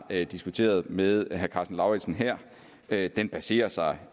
diskuteret med herre karsten lauritzen her sagen baserer sig